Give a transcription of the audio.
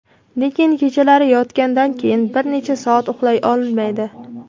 lekin kechalari yotgandan keyin bir necha soat uxlay olmaydi.